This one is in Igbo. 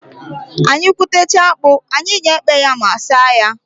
Anyị gwutechaa akpụ, anyị ga-ekpe ma saa ya.